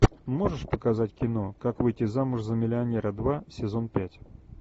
можешь показать кино как выйти замуж за миллионера два сезон пять